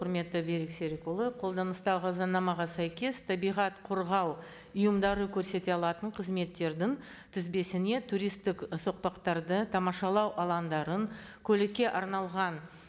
құрметті берік серікұлы қолданыстағы заңнамаға сәйкес табиғат қорғау ұйымдары көрсете алатын қызметтердің тізбесіне туристтік соқпақтарды тамашалау алаңдарын көлікке арналған